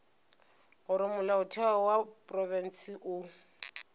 gore molaotheo wa profense o